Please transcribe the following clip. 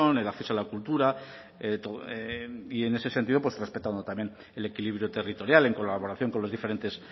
el acceso a la cultura y en ese sentido pues respetando también el equilibrio territorial en colaboración con los diferentes